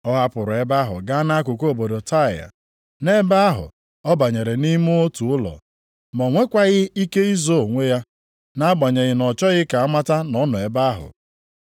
Ọ hapụrụ ebe ahụ gaa nʼakụkụ obodo Taịa. + 7:24 Nʼakwụkwọ ochie ụfọdụ i ga-ahụ Taịa na Saịdọn. Nʼebe ahụ ọ banyere nʼime otu ụlọ. Ma o nwekwaghị ike izo onwe ya, nʼagbanyeghị na ọ chọghị ka a mata na ọ nọ ebe ahụ.